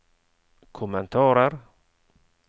kommentarer